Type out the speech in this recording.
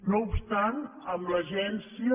no obstant amb l’agència